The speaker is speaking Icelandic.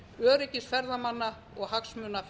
öryggis ferðamanna og hagsmuna